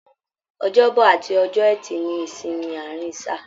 Ọjọ́bọ̀ àti ọjọ́ ẹtì ní ìsinmi àárín sáà.